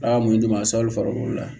Aa mun di ma sa aw farikolo la